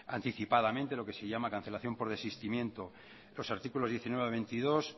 anticipadamente lo que se llama cancelación por desistimiento los artículos diecinueve a veintidós